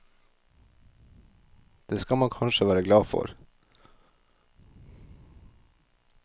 Det skal man kanskje være glad for.